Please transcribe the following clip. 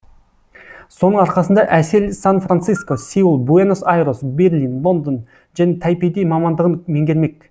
соның арқасында әсел сан франциско сеул буэнос айрес берлин лондон және тайпейде мамандығын меңгермек